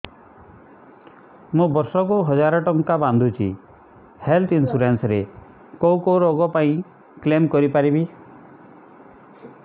ମୁଁ ବର୍ଷ କୁ ହଜାର ଟଙ୍କା ବାନ୍ଧୁଛି ହେଲ୍ଥ ଇନ୍ସୁରାନ୍ସ ରେ କୋଉ କୋଉ ରୋଗ ପାଇଁ କ୍ଳେମ କରିପାରିବି